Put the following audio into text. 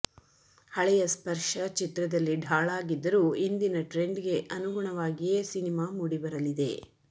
ಹಳೆಯ ಸ್ಪರ್ಶ ಚಿತ್ರದಲ್ಲಿ ಢಾಳಾಗಿದ್ದರೂ ಇಂದಿನ ಟ್ರೆಂಡ್ಗೆ ಅನುಗುಣವಾಗಿಯೇ ಸಿನಿಮಾ ಮೂಡಿಬರಲಿದೆ